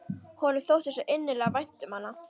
Honum þótti svo innilega vænt um hana.